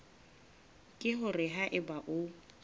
ke hore ha eba o